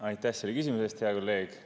Aitäh selle küsimuse eest, hea kolleeg!